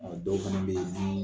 dɔw fana be ye, dumuni